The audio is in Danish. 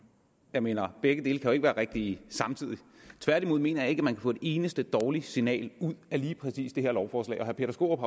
jeg mener at begge dele jo ikke være rigtige tværtimod mener jeg ikke at man kan få et eneste dårligt signal af lige præcis det her lovforslag herre peter skaarup